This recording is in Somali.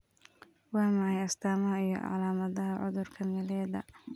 Waa maxay astamaha iyo calaamadaha cudurka Meleda?